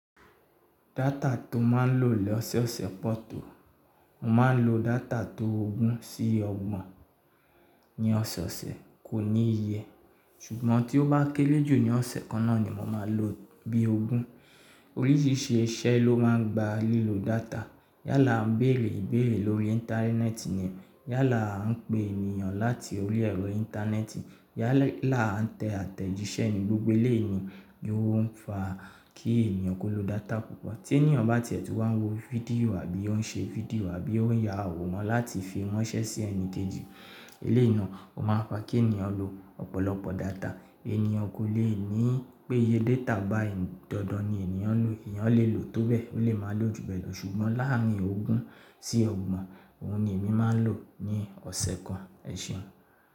Data tó máa ń lò ní ọ̀sọ̀ọ̀sẹ̀ pọ̀ tó, mo máa ń lo data tó ogún sí ọgbọ̀n ní ọ̀sọ̀ọ̀sẹ̀ kò ní iye ṣùgbọ́n tí ó bá kéré jù ní ọ̀sẹ̀ kan náà ni mo máa lò bí ogún. Oríṣìíríṣìí iṣẹ́ ló máa ń gba lílo data. Yálà a ń bèrè ìbéèrè lórí íńtánẹ́ẹ̀tì ni, yálà a ń pe ènìyàn láti orí ẹ̀rọ íńtánẹ́ẹ̀tì, yálà a ń tẹ àtẹ̀jíṣẹ́ ní gbogbo éléèni ni ó ń fa kí ènìyàn kó lo data púpọ̀. Tí ènìyàn bá tiẹ̀ tó wá ń wo fídíò àbí ó ń ṣe fídíò àbí ó ń ya àwòrán láti fi ránṣẹ́ sí ẹni kejì eléèna, ó máa ń fa kí ènìyàn lo ọ̀pọ̀lọpọ̀ data. Ènìyàn kò lè ní pé iye data bá ìdandan ni ènìyàn ń lò, ènìyàn lè lò tó bẹ́ẹ̀, ó lè máa lò jù bẹ́ẹ̀ lọ ṣùgbọ́n láàárín ogún sí ọgbọ̀n, òun ni èmi máa ń lò ní ọ̀sẹ̀ kan. Ẹ̀ṣẹ̀ ọ̀n.